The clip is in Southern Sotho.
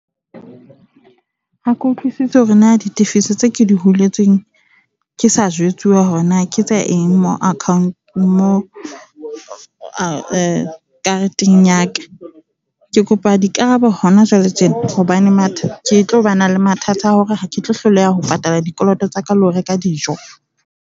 Ha ke utlwisise hore na ditefiso tseo ke di huletsweng, ke sa jwetsuwa hore na ke tsa eng mo account mo kareteng ya ka. Ke kopa dikarabo hona jwale tjena hobane mathata ke tlo ba na le mathata a hore ha ke tlo hloleha ho patala dikoloto tsa ka le ho reka dijo.